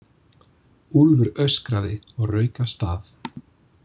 Úlfur öskraði og rauk af stað.